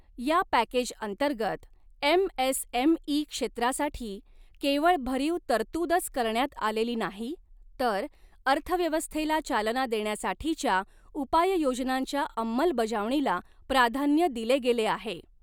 या पॅकेजअंतर्गत, एमएसएमई क्षेत्रासाठी केवळ भरीव तरतूदच करण्यात आलेली नाही तर अर्थव्यवस्थेला चालना देण्यासाठीच्या उपाययोजनांच्या अंमलबजावणीला प्राधान्य दिले गेले आहे.